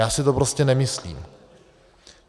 Já si to prostě nemyslím.